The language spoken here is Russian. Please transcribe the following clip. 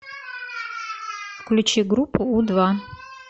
включи группу у два